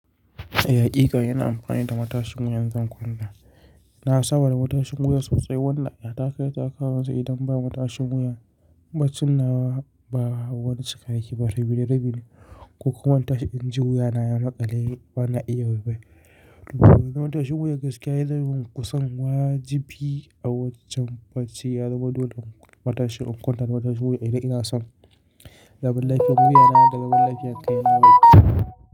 Eh, inna amfani da matashin wuyan in zan kwanta. Na saba da matashin wuya sosai, wannan aya ta kai ta kawu idan bai matashin wuya ba. Cinnawa ba wani cika yake ba, rabi da rabi ne. Ko kuma matashin inji wuya na ya maƙale bana iya wai waye Matashin wuya gaskiya ya zama kusan wajibi a wajin bacci. Ya zama dole matashin in kwanta da matashin wuya. Ina son zaman lafiyar wuyana da zaman lafiyar kai na bai.